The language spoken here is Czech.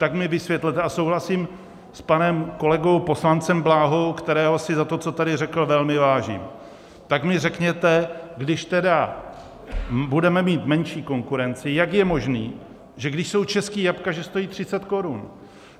Tak mi vysvětlete - a souhlasím s panem kolegou poslancem Bláhou, kterého si za to, co tady řekl, velmi vážím - tak mi řekněte, když tedy budeme mít menší konkurenci, jak je možné, že když jsou česká jablka, že stojí 30 korun?